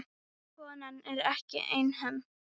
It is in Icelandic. Konan er ekki einhöm.